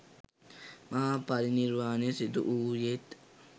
මහා පරිනිර්වාණය සිදු වූයේත්